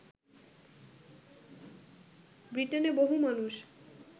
ব্রিটেনে বহু মানুষ